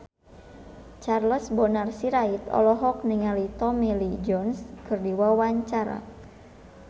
Charles Bonar Sirait olohok ningali Tommy Lee Jones keur diwawancara